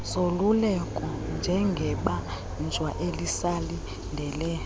zoluleko njengebanjwa elisalindele